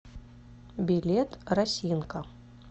билет росинка